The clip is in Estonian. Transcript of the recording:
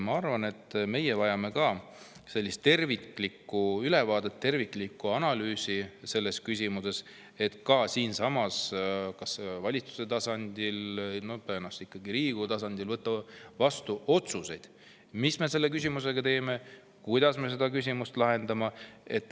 Ma arvan, et ka meie vajame terviklikku ülevaadet, terviklikku analüüsi selles küsimuses, et kas valitsuse või tõenäoliselt ikkagi Riigikogu tasandil võtta vastu otsuseid, mis me selle teeme, kuidas me seda küsimust lahendame.